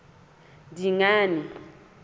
dingane